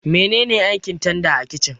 Mene ne aikin tanda a kicin?